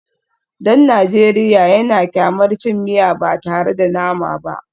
Dan Najeriya yana kyamar cin miya ba tare da nama ba